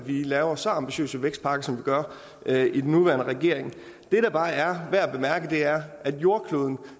vi laver så ambitiøse vækstpakker som vi gør i den nuværende regering det der bare er værd at bemærke er at jordkloden